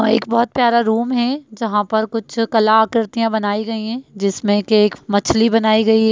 एक बोहोत प्यारा रूम है जहाँ पर कुछ कला आकृतियाँ बनायीं गयीं हैं जिसमें कि एक मछली बनाई गयी --